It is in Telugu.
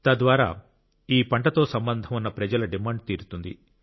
తద్వారా ఈ పంటతో సంబంధం ఉన్న ప్రజల డిమాండ్ తీరుతుంది